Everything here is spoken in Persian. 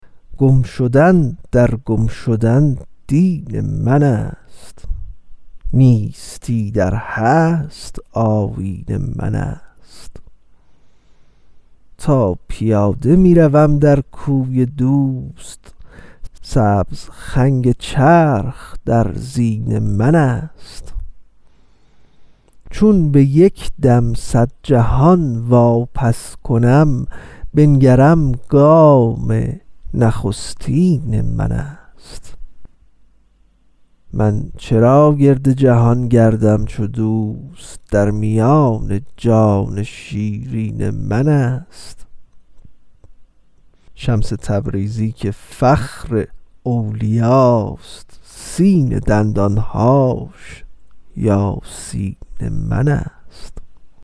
گم شدن در گم شدن دین منست نیستی در هست آیین منست تا پیاده می روم در کوی دوست سبز خنگ چرخ در زین منست چون به یک دم صد جهان واپس کنم بنگرم گام نخستین منست من چرا گرد جهان گردم چو دوست در میان جان شیرین منست شمس تبریزی که فخر اولیاست سین دندان هاش یاسین منست